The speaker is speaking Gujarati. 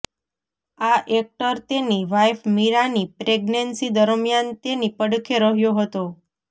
આ એક્ટર તેની વાઇફ મીરાની પ્રેગ્નન્સી દરમિયાન તેની પડખે રહ્યો હતો